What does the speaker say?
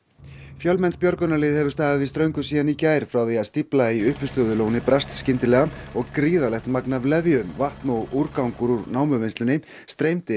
fjölmennt björgunarlið hefur staðið í ströngu síðan í gær frá því að stífla í uppistöðulóni brast skyndilega og gríðarlegt magn af leðju vatn og úrgangur úr námuvinnslunni streymdi